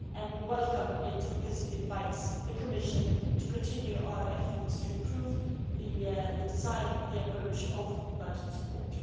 We welcome it because it invites the Commission to continue our efforts to improve the design and the approach of budget support.